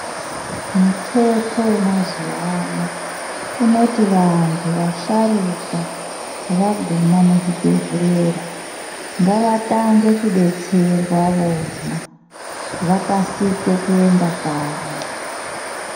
Muteto wemazuwa ano unoti vantu vasharuka vaguma muzvibhehlera ngavatange kudetserwa vona vakasike kuenda kanyi.